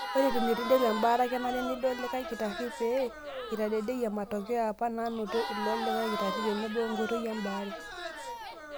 Ore eton eitu interu embaata, kenare nidol likae kitari pee eitadedeyie matokeo apa naanoto ilo likae kitari tenebo enkoitoi e baare.